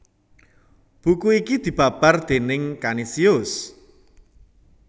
Buku iki dibabar déning Kanisius